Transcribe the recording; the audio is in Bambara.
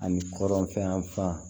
Ani kɔrɔnfɛn yanfan